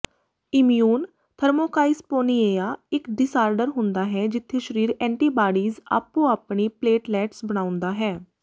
immune thrombocytopenia ਇਕ disorder ਹੁੰਦਾ ਹੈ ਜਿੱਥੇ ਸਰੀਰ ਐਂਟੀਬਾਡੀਜ਼ ਆਪੋ ਆਪਣੀ ਪਲੇਟਲੈਟਸ ਬਣਾਉਂਦਾ ਹੈ